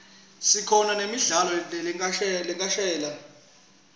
sikhona kubona nemidlalo lekhashane